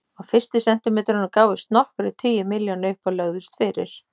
Á fyrstu sentimetrunum gáfust nokkrir tugir milljóna upp og lögðust fyrir.